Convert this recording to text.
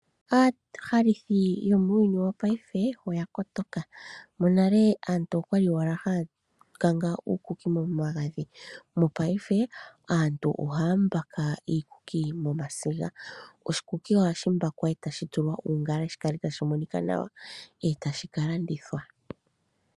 Aahalithi yomuuyuni wopaife oya kotoka. Monale aantu oyali owala haya kanga uukuki momagadhi, ihe mopaife aantu ohaya mbaka iikuki momasiga. Oshikuki ohashi mbakwa e tashi tulwa uungala shi kale tashi monika nawa, e tashi ka landithwa.